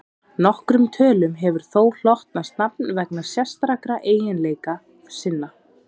nokkrum tölum hefur þó hlotnast nafn vegna sérstakra eiginleika sinna